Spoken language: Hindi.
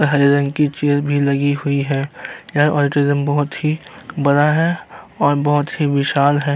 और हरे रंग की चेयर भी लगी हुई है। यह ऑडोटेरियम बहुत ही बड़ा है और बहुत ही विशाल है।